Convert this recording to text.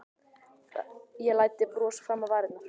Ég læddi brosi fram á varirnar.